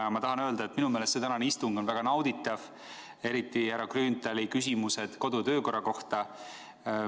Ja ma tahan öelda, et minu meelest see tänane istung on väga nauditav, eriti härra Grünthali küsimused kodu- ja töökorra kohta.